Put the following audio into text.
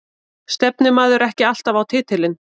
Stefnir maður ekki alltaf á titilinn?